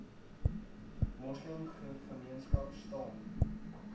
moslem gemeenskap staan